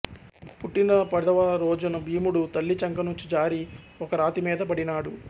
పుట్టిన పదవ రోజున భీముడు తల్లి చంక నుంచి జారి ఒక రాతి మీద పడినాడు